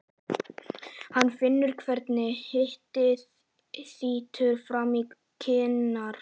Hann finnur hvernig hitinn þýtur fram í kinnar.